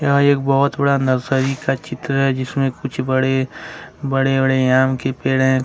और एक बहुत बड़ा नर्सरी का चित्र है जिसमें कुछ बड़े बड़े बड़े आम के पेड़ हैं।